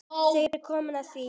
Þá er komið að því!